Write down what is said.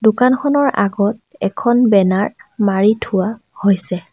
দোকানখনৰ আগত এখন বেনাৰ মাৰি থোৱা হৈছে।